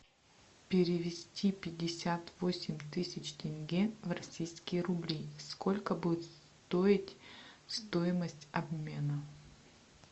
перевести пятьдесят восемь тысяч тенге в российские рубли сколько будет стоить стоимость обмена